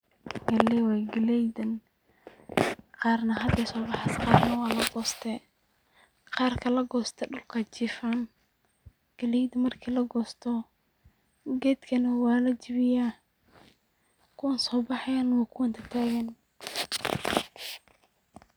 Galey way, galeydan qarna haday soo baxays qorna waa lagoste, qarka lagoste dhulkay jifaan, galeyd marki lagosto gedkana waa lajebiya, kuwan soo baxayan waa kuwan tatagan